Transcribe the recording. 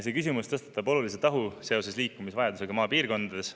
" See küsimus tõstatab olulise tahu seoses liikumisvajadusega maapiirkondades.